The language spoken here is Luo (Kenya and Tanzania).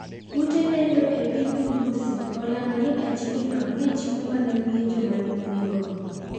Ute lendo epiny Urusi olando ni achijno ne chimo mana wiye joma ne oneg go.